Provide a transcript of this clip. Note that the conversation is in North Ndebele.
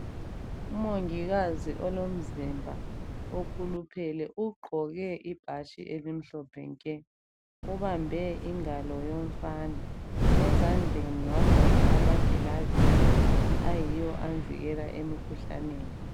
Umongikazi olomzimba okhuluphele ugqoke ibhatshi elimhlophe nke. Ubambe ingalo yomfana. Ezandleni wagqoka amagilavisi ayiwo amvikela emkhuhlaneni.